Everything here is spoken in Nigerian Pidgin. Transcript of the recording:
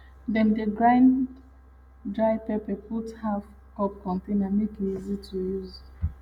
dem dey grind dry pepper put for half cup container make e easy to use